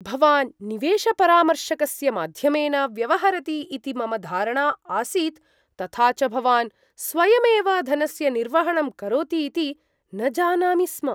भवान् निवेशपरामर्शकस्य माध्यमेन व्यवहरति इति मम धारणा आसीत् तथा च भवान् स्वयमेव धनस्य निर्वहणं करोति इति न जानामि स्म।